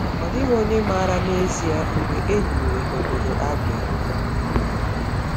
Ọ dịghị onye maara n’ezie mgbe e hiwere obodo Abia.